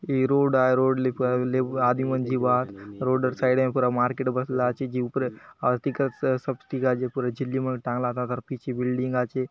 इए रोड आए रोड ले पुरा एले आदमी मन जीबा रोडर साइडें पुरा मार्केट बसला आचे जिउपरे आर टीका अ सब पुरा झिल्ली मन टांगला तादर पिछे बिल्डिंग आचे।